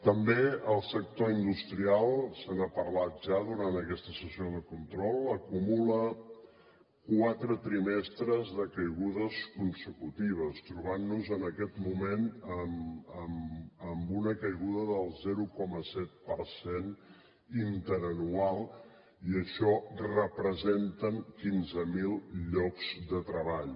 també el sector industrial se n’ha parlat ja durant aquesta sessió de control acumula quatre trimestres de caigudes consecutives i ens trobem en aquest moment amb una caiguda del zero coma set per cent interanual i això representen quinze mil llocs de treball